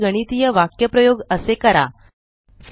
विविध गणितीय वाक्यप्रयोग करण्याचा प्रयत्न करा